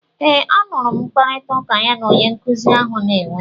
Eeee, a nụrụ m mkparịtaụka ya na onye nkuzi ahụ na-enwe.